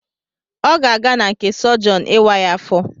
Ọ ga-aga n'nke Sogion ịwa ya afọ